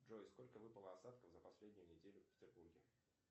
джой сколько выпало осадков за последнюю неделю в петербурге